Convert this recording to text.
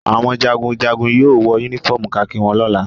Àwọn jagunjagun yóò wọ únífọ́ọ́mù kakí wọn lọ́la.